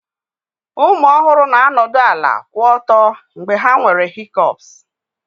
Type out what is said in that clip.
Ụmụ ọhụrụ na-anọdụ ala kwụ ọtọ mgbe ha nwere hikọpsị